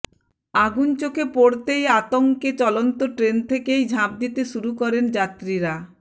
আগুন চোখে পড়তেই আতঙ্কে চলন্ত ট্রেন থেকেই ঝাঁপ দিতে শুরু করেন যাত্রীরা